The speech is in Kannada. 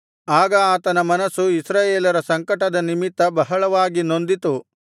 ಆಗ ಆತನ ಮನಸ್ಸು ಇಸ್ರಾಯೇಲರ ಸಂಕಟದ ನಿಮಿತ್ತ ಬಹಳವಾಗಿ ನೊಂದಿತು